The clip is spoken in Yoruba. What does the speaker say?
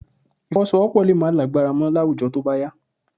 Ìfọwọ́sowọ́́pọ̀ lè má lágbára mọ́ láwùjọ tó bá yá